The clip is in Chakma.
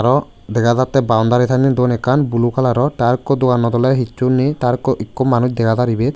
aro dega jatte boundary sanne dun ekkan blue colour or the arokku doganot ole hichu ney the arokku ekku manuj dega jar ibet.